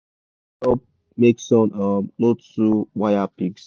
shade da help make sun um no too waya pigs